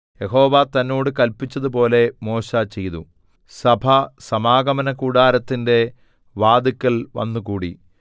യഹോവ തന്നോട് കല്പിച്ചതുപോലെ മോശെ ചെയ്തു സഭ സമാഗമനകൂടാരത്തിന്റെ വാതില്ക്കൽ വന്നുകൂടി